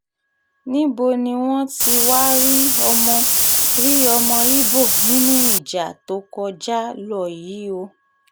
níbo ni wọ́n ti wáá rí ọmọ rí ọmọ ibo nínú ìjà tó kọjá lọ yìí o